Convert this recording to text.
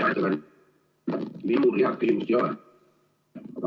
Hea ettekandja, minul head küsimust ei ole.